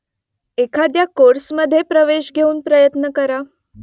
एखाद्या कोर्समधे प्रवेश घेऊन प्रयत्न करा